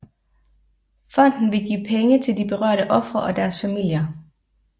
Fonden vil give penge til de berørte ofre og deres familier